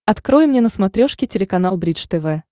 открой мне на смотрешке телеканал бридж тв